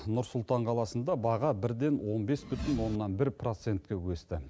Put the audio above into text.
нұр сұлтан қаласында баға бірден он бес бүтін оннан бір процентке өсті